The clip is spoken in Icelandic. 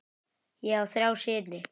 Ég á þrjá syni.